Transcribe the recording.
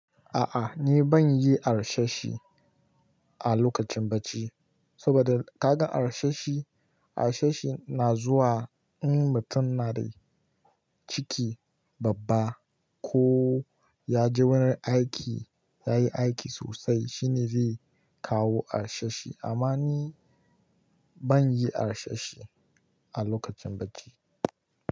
A'a ni ban yi harsashi a lokacin bacci, saboda kaga harsashi, harsashi na zuwa in mutum na da ciki babba ko ya ji wani aiki, ya yi aiki sosai shine zai kawo harsashi. Amma ni ban yi harsashi a lokacin bacci.